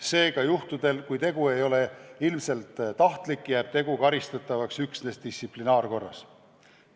Seega juhtudel, kui tegu ei ole ilmselt tahtlik, jääb tegu karistatavaks üksnes distsiplinaarkorras.